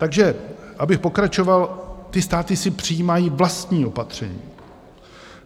Takže abych pokračoval, ty státy si přijímají vlastní opatření.